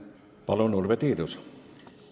Palun, Urve Tiidus!